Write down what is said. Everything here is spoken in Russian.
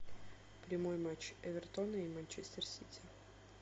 прямой матч эвертона и манчестер сити